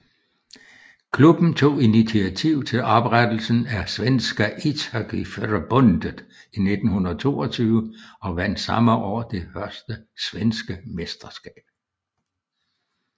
Klubben tog initiativ til oprettelsen af Svenska Ishockeyförbundet i 1922 og vandt samme år det første svenske mesterskab